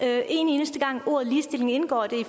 er en eneste gang hvor ordet ligestilling indgår